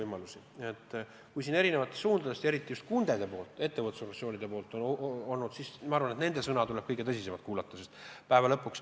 Kui tuleb kriitikat erinevatest suundadest, eriti just kundede, ettevõtlusorganisatsioonide poolt, siis ma arvan, et nende sõna tuleb tõsiselt kuulata.